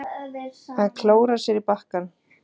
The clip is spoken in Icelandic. Að klóra í bakkann